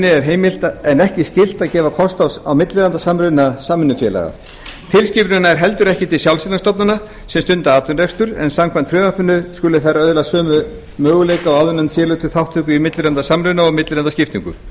er heimilt en ekki skylt að gefa kost á millilandasamruna samvinnufélaga tilskipunin nær heldur ekki til sjálfseignarstofnana sem stunda atvinnurekstur en samkvæmt frumvarpinu skulu þær öðlast sömu möguleika og áðurnefnd félög til þátttöku í millilandasamruna og millilandaskiptingu